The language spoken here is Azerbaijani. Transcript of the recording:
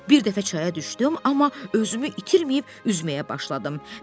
Bir dəfə çaya düşdüm, amma özümü itirməyib üzməyə başladım.